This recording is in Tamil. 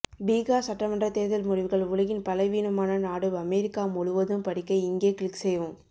பீகார் சட்டமன்றத் தேர்தல் முடிவுகள் உலகின் பலவீனமான நாடு அமெரிக்கா முழுவதும் படிக்க இங்கே கிளிக் செய்யவும்